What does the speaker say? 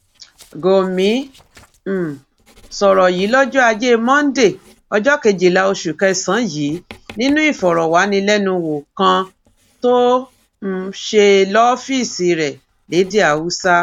gòmí um sọrọ yìí lọjọ ajé monde ọjọ kejìlá oṣù kẹsànán yìí nínú ìfọrọwánilẹnuwò kan tó um ṣe lọfíìsì rẹ lédè haúsá